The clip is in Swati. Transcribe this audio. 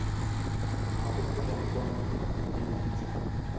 ngako kulenkondlo lengenhla